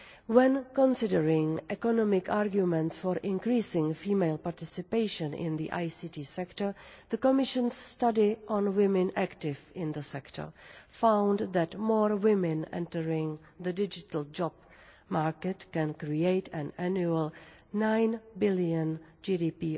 When considering economic arguments for increasing female participation in the ICT sector, the Commission's study on women active in the sector found that more women entering the digital jobs market can create an annual EUR 9 billion GDP